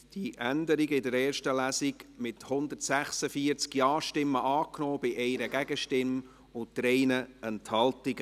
Sie haben diese Änderung in der ersten Lesung angenommen, mit 146 Ja-Stimmen bei 1 Gegenstimme und 3 Enthaltungen.